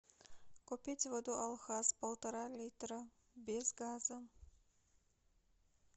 купить воду алхаз полтора литра без газа